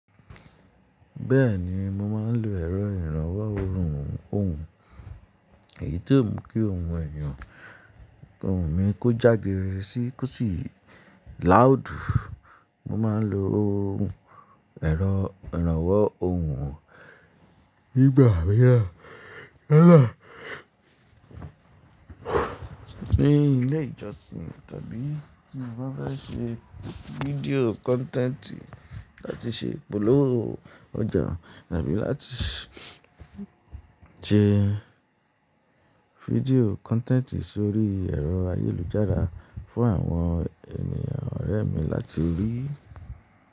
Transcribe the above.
Bẹ́ẹ̀ni, mo máa ń lo ẹ̀rọ ìrànwọ́ ohùn. Èyí tó ń mú kí ohùn èèyàn, ohùn mi kó jágiri sí kó sì loud. Mo máa ń lo ohùn, ẹ̀rọ ìrànwọ́ ohùn nígbà mìíràn, ní ilé ìjọsìn tàbí tí mo bá ṣe video content láti ṣe ipolówó ọjà tàbí láti ṣe video content sórí ẹ̀rọ ayélujára fún àwọn ènìyàn ọ̀rẹ́ mi láti rí.